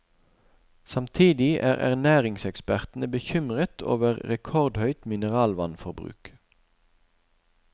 Samtidig er ernæringsekspertene bekymret over rekordhøyt mineralvannforbruk.